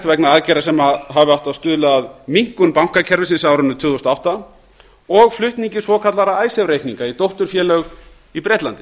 vegna aðgerða sem hefðu átt að stuðla að minnkun bankakerfisins á árinu tvö þúsund og átta og flutningi svokallaðra icesave reikninga í dótturfélög í bretlandi